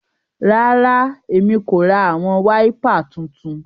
Rara, Èmí ko rá awọn waipà títún